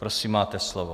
Prosím, máte slovo.